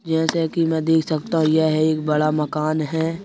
जैसे कि मैं देख सकता हूं यह एक बड़ा मकान है।